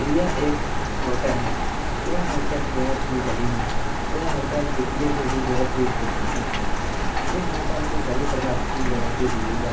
यह एक होटल है यह होटल बहुत ही बड़ी है यह होटल दिखने में भी बहुत ही खूबसुरत है इस होटल में सभी प्रकार की वैरायटीस मिल जाती --